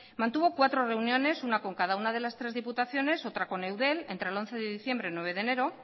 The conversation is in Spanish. mantuvo cuatro reuniones una con cada una de las tres diputaciones otra con eudel entre el once de diciembre y el nueve de enero